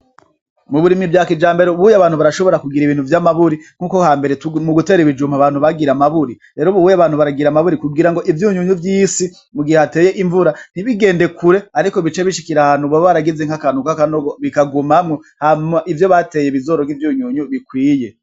Muburimyi bwakijambere ubuhunye abantu barashobora kugira ibintu vyamaburi nkuko hambere mugutera ibijumbu abantu bagira amaburi. Rero Ubuhunye abantu baragira amaburi kugirango ivyunyunyu vyisi mugihe hateye invura ntibigende kure ariko bice bishikira ahantu boba baragize nkakantu kakanogo bikagumamwo hama ivyo bateye bizoronke ivyunyunyu bikwiye.